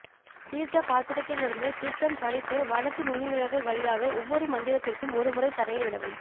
தீர்த்த பாத்திரத்திலிருந்து தீர்த்தம் சரித்து வலது நுனிவிரல்கள் வழியாக ஒவ்வொரு மந்திரத்திற்கும் ஒரு முறை தரையில் விடவும்